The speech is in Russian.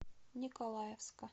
николаевска